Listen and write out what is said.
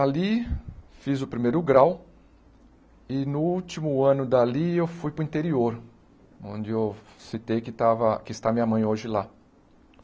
Ali fiz o primeiro grau e no último ano dali eu fui para o interior, onde eu citei que estava, que está minha mãe hoje lá.